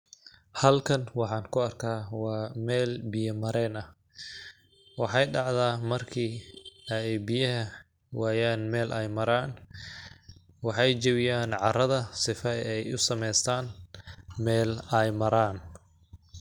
Halkan waxaan ku arkaa waa meel biya mareen ah ,waxeey dhacdaa marki ay biyaha wayaan meel ay maraan ,waxay jabiyaan carrada sifa ay u samaystaan meel ay maraan .